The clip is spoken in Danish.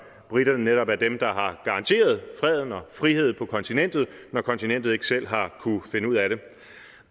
briterne netop er dem der har garanteret freden og friheden på kontinentet når kontinentet ikke selv har kunnet finde ud af det